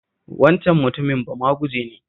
Waccan mutumin bamaguje ne